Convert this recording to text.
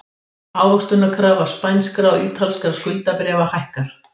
Ávöxtunarkrafa spænskra og ítalskra skuldabréfa hækkar